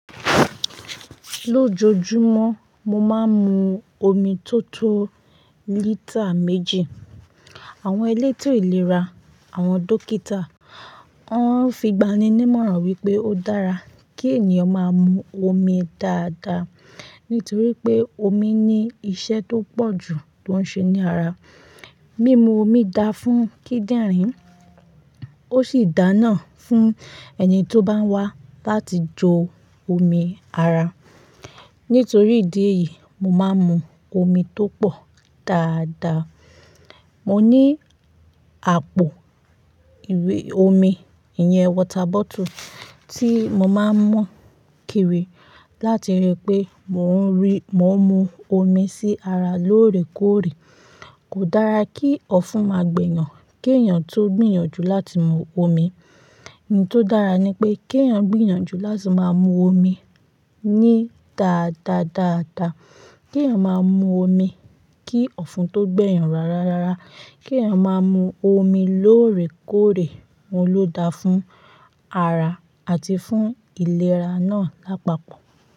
Lójojúmọ́ mo máa ń mu omi tó tó lítà méjì. Àwọn elétò ìlera, àwọn dókítà, wọ́n fi ìgbani-ní mọ̀ràn wípé ó dára kí ènìyàn máa mu omi dáadáa nítorí pé omi ní iṣẹ́ tó pọ̀jù tó ń ṣe ní ara. Mímu omi da fún kíndìnrín ó sì dáná fún ẹni tó bá wá láti jó omi ara. Nítorí ìdí èyí, mo máa ń mu omi tó pọ̀ dáadáa. Mo ní àpò ìwé omi, ìyẹn water bottle tí mo máa ń mú kiri láti rí pé mò ń rí, mò ń mu omi sí ara lóòrèkóòrè. Kò dára kí ọ̀fun máa gbèyàn kí èèyàn tó gbìyànjú láti mu omi. Ohun tó dára ni pé kí èèyàn gbìyànjú láti máa mu omi ní dáadáa dáadáa. Kí èèyàn máa mu omi kí ọ̀fun tó gbẹ̀yan rárá rárá. Kí èèyàn máa mu omi lóòrèkóòrè, òun ló da fún ara àti fún ìlera náà lápapọ̀.